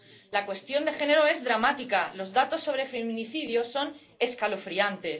La cuestión de género es dramática los datos sobre feminicidios son escalofriantes.